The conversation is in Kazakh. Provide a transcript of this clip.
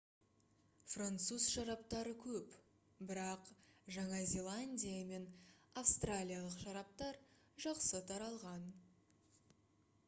француз шараптары көп бірақ жаңа зеландия мен австралиялық шараптар жақсы таралған